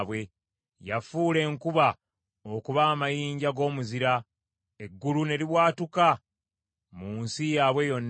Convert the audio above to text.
Yafuula enkuba okuba amayinja g’omuzira; eggulu ne libwatuka mu nsi yaabwe yonna.